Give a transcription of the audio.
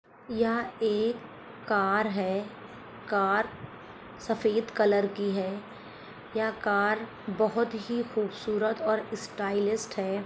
यहां एक कार हैकार सफेद कलर की हैयह कार बहुत ही खूबसूरत और स्टाइलिश है।